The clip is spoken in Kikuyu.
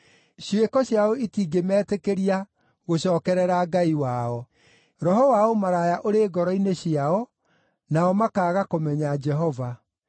“Ciĩko ciao itingĩmetĩkĩria gũcookerera Ngai wao. Roho wa ũmaraya ũrĩ ngoro-inĩ ciao, nao makaaga kũmenya Jehova.